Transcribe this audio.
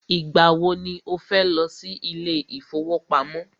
Ìgbà wọ ni o fẹ́ lọ sí ilé ìfọwọ́pamo?